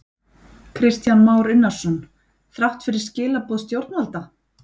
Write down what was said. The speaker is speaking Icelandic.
Kristján Már Unnarsson: Þrátt fyrir skilaboð stjórnvalda?